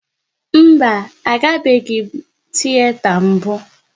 Mba, a gabeghi m tiyeta mbụ